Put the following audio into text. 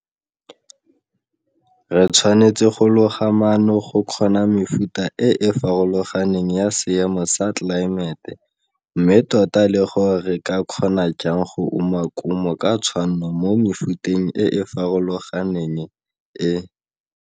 Re tshwanetse go loga maano go kgona mefuta e e farologaneng ya seemo sa tlelaemete mme tota le gore re ka kgona jang go uma kumo ka tshwanno mo mefuteng e e farologaneng e.